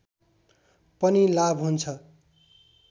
पनि लाभ हुन्छ